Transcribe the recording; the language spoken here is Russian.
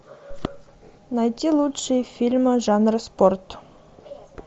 найти лучшие фильмы жанра спорт